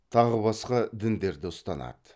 тағы басқа діндерді ұстанады